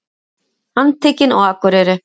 Handtekin á Akureyri